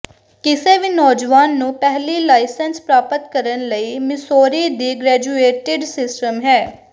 ਕਿਸੇ ਵੀ ਨੌਜਵਾਨ ਨੂੰ ਪਹਿਲੀ ਲਾਇਸੈਂਸ ਪ੍ਰਾਪਤ ਕਰਨ ਲਈ ਮਿਸੋਰੀ ਦੀ ਗ੍ਰੈਜੂਏਟਿਡ ਸਿਸਟਮ ਹੈ